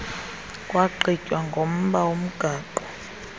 kwagqitywa ngomba womgaqo